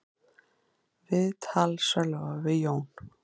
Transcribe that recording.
Viðtal Sölva við Jón